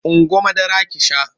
Ungo madara ki sha!